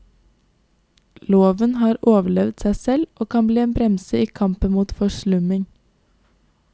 Loven har overlevd seg selv, og kan bli en bremse i kampen mot forslumming.